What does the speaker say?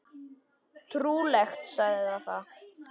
Trúleg saga það!